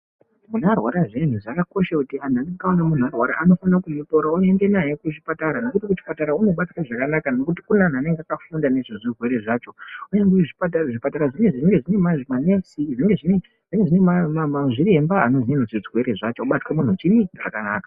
Muntu arwara zviyani zvakakosha kuti vanofana kumutora vaende naye kuchipatara nekuti kuchipatara unobatwa zvakanaka ngekuti kune vanhu vanenge vakafunda nezvezvirwere zvacho uye zvipatara zvinenge zvine manesi zvinenge zvine maremba anoziya zvirwrre zvacho zvobata muntu zvakanaka.